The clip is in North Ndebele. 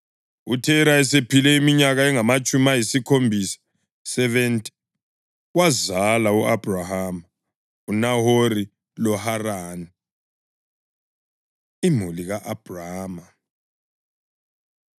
UThera esephile iminyaka engamatshumi ayisikhombisa (70) wazala u-Abhrama, uNahori loHarani. Imuli Ka-Abhrama